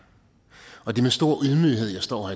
og det er med stor ydmyghed jeg står